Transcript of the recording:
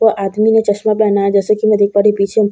वो आदमी ने चश्मा पेहना है जैसे की मैं देख पा रही हूँ पीछे --